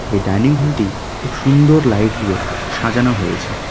এই ডাইনিং হলটি খুব সুন্দর লাইট দিয়ে সাজানো হয়েছে.